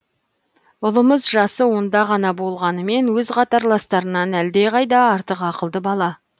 ұлымыз жасы онда ғана болғанымен өз қатарластарынан әлде қайда артық ақылды бала